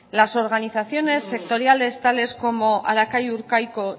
las organizaciones sectoriales tales como harakai urkaiko